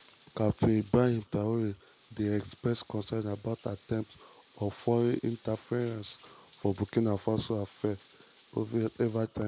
captain ibrahim traoré dey express concern about attempts of foreign interference for burkina faso affairs evritime.